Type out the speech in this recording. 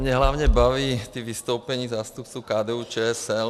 Mě hlavně baví ta vystoupení zástupců KDU-ČSL.